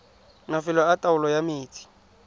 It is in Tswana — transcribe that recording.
mafelo a taolo ya metsi